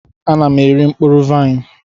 Ana m eri mkpụrụ vaịn.